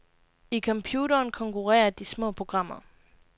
I computeren konkurrerer de små programmer.